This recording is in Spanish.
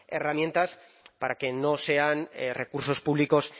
herramientas para que no sean recursos públicos